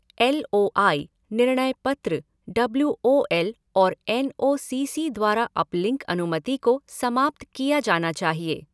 L O I, निर्णय पत्र, W O L और एन ओ सी सी द्वारा अपलिंक अनुमति को समाप्त किया जाना चाहिए।